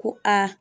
Ko aa